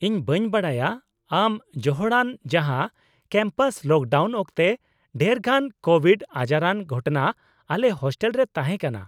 ᱤᱧ ᱵᱟᱹᱧ ᱵᱟᱰᱟᱭᱟ ᱟᱢ ᱡᱚᱦᱚᱲᱟᱱ ᱡᱟᱦᱟᱸ ᱠᱮᱢᱯᱟᱥ ᱞᱚᱠᱰᱟᱣᱩᱱ ᱚᱠᱛᱮ ᱰᱷᱮᱨᱜᱟᱱ ᱠᱳᱵᱷᱤᱰ ᱟᱡᱟᱨᱟᱱ ᱜᱷᱚᱴᱚᱱᱟ ᱟᱞᱮ ᱦᱳᱥᱴᱮᱞ ᱨᱮ ᱛᱟᱦᱮᱸ ᱠᱟᱱᱟ ᱾